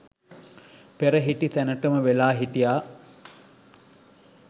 පෙර හිටි තැනටම වෙලා හිටියා.